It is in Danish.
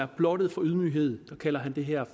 blottet for ydmyghed kalder han den her